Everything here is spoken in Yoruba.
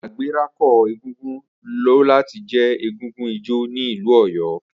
Agbẹ̀rako egúngún lo lati je egúngún ijó ni ilu Oyo.